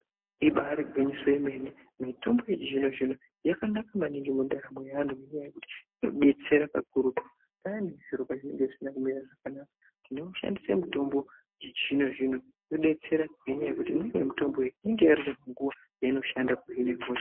Ibaari gwinyiso remene mitombo yechizvino zvino yakanaka maningi mundaramo yeantu. Ngenyaya yekuti inodetsera zvikurutu payani zviro pazvinenge zvisina kumira zvakanaka. Tinoishandisa mutombo yechizvino zvino yodetsera ngekuti imweni yemitombo iyi inenge ine nguwa yeinoshanda kuhine hosha.